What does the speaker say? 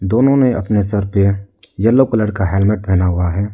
दोनों ने अपने सर पे येलो कलर का हेलमेट पहना हुआ है।